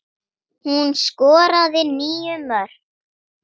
Hún skoraði níu mörk.